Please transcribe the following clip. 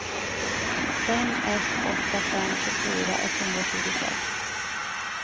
fem ett åtta fem tjugofyra etthundratjugosex